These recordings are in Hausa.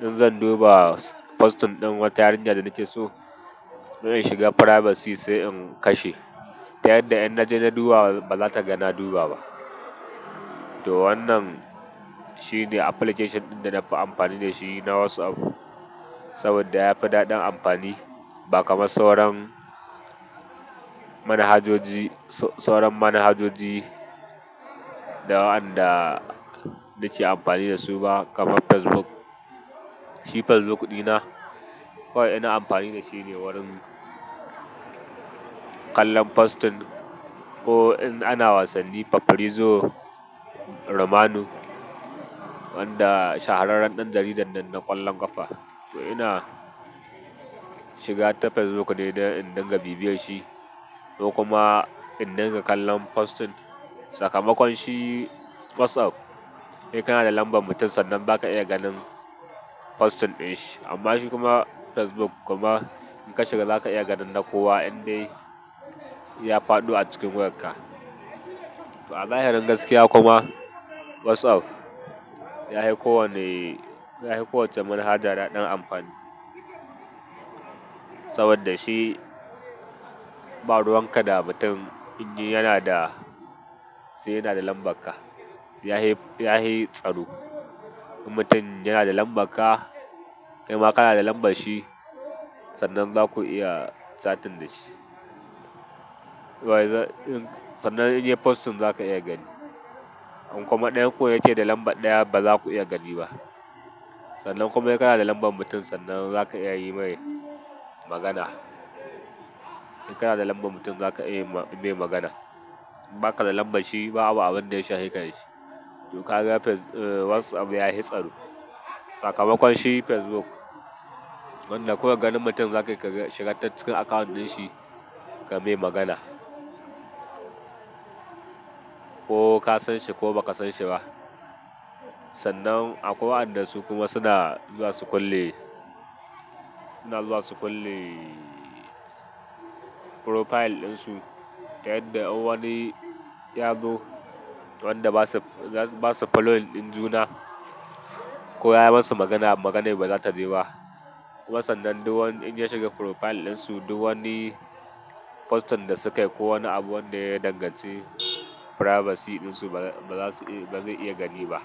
in zan duba posting ɗin wata yarinya da nake so, ina shiga privacy sai in kashe. Ta yanda inna je na duba ba za ta ga na duba ba. To wannan shine application ɗin da na fi amfani da shi na WhatsApp saboda ya fi daɗin amfani ba kamar sauran manhajoji, sauran manhajoji da wanda nike amfani da su ba kamar Facebook. Shi Facebook ɗina, kawai ina amfani da shi ne wurin kallon posting ko in ana wasanni fafrizo Romanu, wanda shahararren ɗan jaridar nan na ƙwallon ƙafa. To ina shiga ta Facebook ne don in dinga bibiye shi ko kuma in dinga kallon posting. Sakamakon shi WhatsApp in kana da lambar mutum sannan za ka iya ganin posting ɗin shi. Amma shi kuma facebook kuma in ka shiga zaka iya ganin na kowa in dai ya faɗo acikin wayarka. A zahirin gaskiya kuma WhatsApp yahi kowane, yahi kowacce manhaja daɗin amfani. Saboda shi baruwan ka da mutum in dai yana da, sai yana da lambar ka. Yahi, yahi tsaro. In mutum yana da lambar ka, kai ma kana da lambar shi sannan za ku iya chatting da shi. Sannan in yayi posting za ka iya gani. In kuma ɗayanku yake da lambar ɗaya ba za ku iya gani ba. Sannan kuma in kana da lambar mutum sannan za ka iya yi mai magana. In kana da lambar mutum za ka iya yi mai magana. In baka da lambar shi babu abunda ya shahe ka dashi to ka ga WhatsApp ya yi tsaro. Sakamakon shi facebook wanda kawai ganin mutum zakai ga shiga ta cikin account ɗinshi ka mai magana ko ka san shi ko ba ka san shi ba. Sannan akwai wa'anda su kuma suna zuwa su kulle, suna zuwa su kulle profile ɗin su. Ta yanda in wani ya zo wanda basa following ɗin juna. Ko ya yi masu magana maganai bazata je ba. Kuma sannan duk wanda ya shiga profile ɗinsu duk wani posting da sukai ko wani abu wanda ya danganci privacy ɗinsu bazasu bazai iya gani ba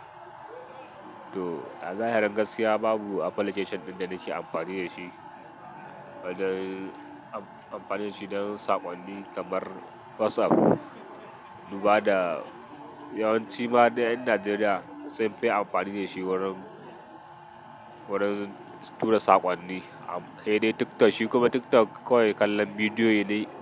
to a zahirin gaskiya babu application ɗin da nake amfani da shi, wajen amfani da shi don saƙonni kamar WhatsApp. Duba da yawanci ma du ƴan Najeriya sunfi amfani da shi wurin, wurin tura saƙonni. He dai TikTok shi kuma TikTok kawai kallon bidiyo ne.